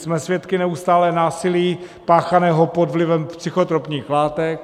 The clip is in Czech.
Jsme svědky neustálého násilí páchaného pod vlivem psychotropních látek.